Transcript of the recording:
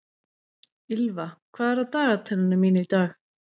Ýlfa, hvað er á dagatalinu mínu í dag?